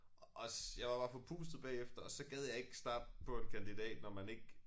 Også jeg var bare forpustet bagefter og så gad jeg ikke starte på en kandidat når man ikke